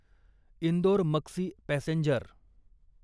Indore Maksi passenger